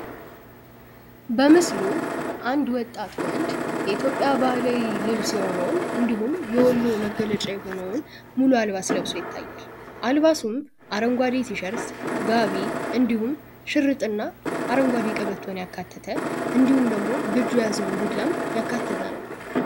በምስሉ አንድ ወጣት ወንድ የኢትዮጵያ ባህላዊ ልብስ የሆነውን እንዲሁም የወሎ መገለጫ የሆነውን ሙሉ አልባስ ለብሶ ይታያል። አልባሱም አረንጓዴቲሸርት ጋቢ እንዲሁም ሽርጥና አረንጓዴውን ቀበቶን ያካተተ እንዲሁም ደግሞ በእጁ ያዘውን ዱላም ያካተተ ነው ።